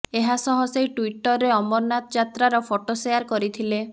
ଏହାସହ ସେ ଟ୍ୱିଟରରେ ଅମରନାଥ ଯାତ୍ରାର ଫଟୋ ସେୟାର କରିଥିଲେ